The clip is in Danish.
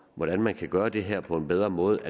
hvordan man kan gøre det her på en bedre måde